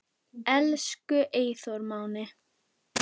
Elsku Eyþór Máni.